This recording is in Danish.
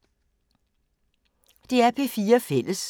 DR P4 Fælles